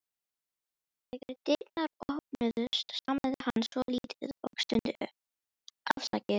Þegar dyrnar opnuðust stamaði hann svolítið og stundi upp: Afsakið